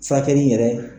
Furakɛli yɛrɛ